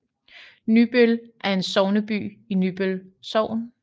Nybøl er sogneby i Nybøl Sogn